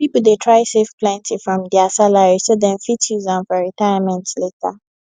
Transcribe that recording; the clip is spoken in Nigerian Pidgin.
people dey try save plenty from dia salary so dem fit use am for retirement later